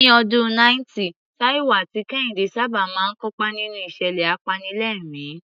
Ní ọdún 90, Taiwo àti Kehinde sábà máa ń kópa nínú ìṣẹ̀lẹ̀ apanilẹ́rìn-ín.